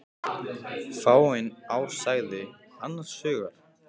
Fáein ár sagði hann annars hugar.